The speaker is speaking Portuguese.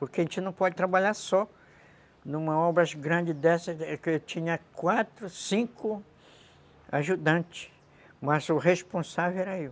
Porque a gente não pode trabalhar só numa obra grande dessa, que eu tinha quatro, cinco ajudantes, mas o responsável era eu.